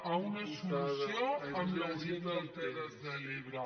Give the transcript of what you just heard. a una solució amb la gent de les terres de l’ebre